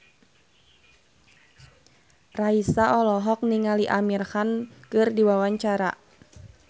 Raisa olohok ningali Amir Khan keur diwawancara